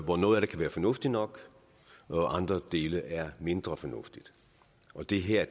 hvor noget af det kan være fornuftigt nok og andre dele er mindre fornuftige det her